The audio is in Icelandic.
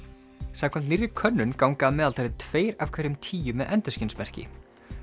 samkvæmt nýrri könnun ganga að meðaltali tveir af hverjum tíu með endurskinsmerki